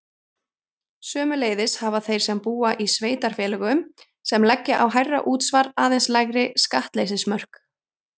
Sömuleiðis hafa þeir sem búa í sveitarfélögum sem leggja á hærra útsvar aðeins lægri skattleysismörk.